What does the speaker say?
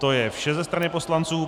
To je vše ze strany poslanců.